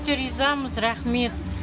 өте ризамыз рақмет